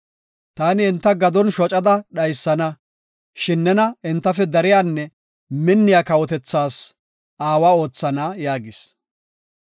Taani enta gadon shocada dhaysana, shin nena entafe dariyanne minniya kawotethas aawa oothana” yaagis.